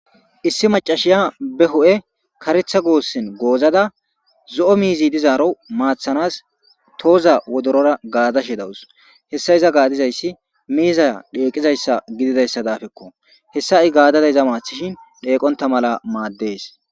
Issi macashiya be ho'e karetha goossin goozada zo'o miizi dizaaro maathanas tooza wodorora gaadashe dawus hessa iza gaadizayssi miiza dheeqizayssa gididayssa daafekko hessa i gaadada iza maathishin dheeqonta mala maaddees